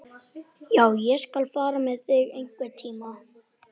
LÁRUS: Læknirinn neitar að skoða sjúklinginn.